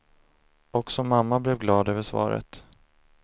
Också mamma blev glad över svaret.